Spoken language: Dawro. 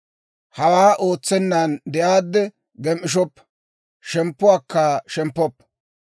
Hawaa ootsennan de'aadde gem"ishshoppa; shemppuwaakka shemppoppa.